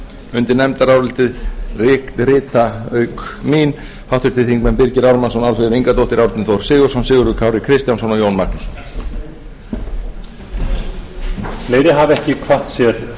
undir nefndarálitið rita auk mín háttvirtir þingmenn birgir ármannsson álfheiður ingadóttir árni þór sigurðsson sigurður kári kristjánsson og jón magnússon